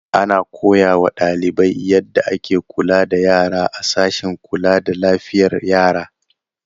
Ana koya wa ɗalibai yadda ake kula da yara a sashen kula da lafiyar yara.